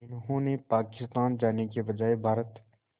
जिन्होंने पाकिस्तान जाने के बजाय भारत